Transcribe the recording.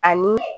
Ani